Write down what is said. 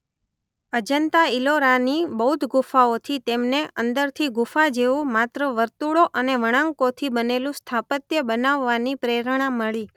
અજંતા-ઈલોરાની બૌદ્ધ ગુફાઓ થી તેમને અંદરથી ગુફા જેવું માત્ર વર્તુળો અને વળાંકોથી બનેલું સ્થાપત્ય બનાવવાની પ્રેરણા મળી.